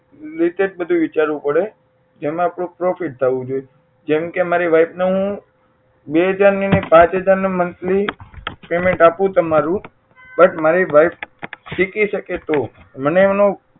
latest બધું વિચારવું પડે એમાં થોડું profit થવું જોઈએ જેમકે મારી wife ને હું બે હજાર ની નહીં પાંચ હજાર ના monthly payment આપું તમારું but મારી wife શીખી શકે તો મને એનો